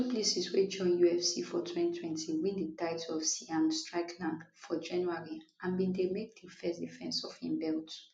du plessis wey join ufc for 2020 win di title off sean strickland for january and bin dey make di first defence of im belt